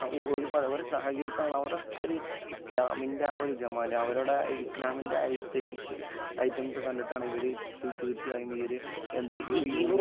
ഒരുപാട്. അവിടെ സഹകരിക്കുക എന്ന് പറഞ്ഞാൽ അവിടെ ഒക്കെ ഇസ്ലാമിന്റെ ആ ഒരു ജമാല് അവരുടെ ഇസ്ലാമിന്‍റെ ആസ്തെറ്റിക്സ് ഐറ്റംസ് കണ്ടിട്ടാണ് ഇവര് തീർച്ചയായും ഈ ഒരു എന്ത്